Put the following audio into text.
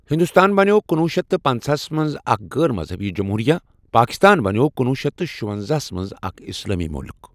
ہندوستان بنیٛوو کُنوُھ شیٚتھ پنژاہس منٛز اکھ غٲر مذہبی جمہوٗرِیہ، پاکستان بنیٛوو کُنوُھ شیٚتھ شُونٛزاہسَ منٛز اکھ اسلٲمی مُلُک۔